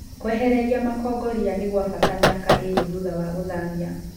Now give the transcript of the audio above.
Kwehereria makongo riia nĩgwabata miaka ĩrĩ thutha wa gũthamia.